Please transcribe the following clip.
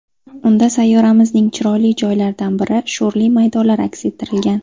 Unda sayyoramizning chiroyli joylaridan biri sho‘rli maydonlar aks ettirilgan.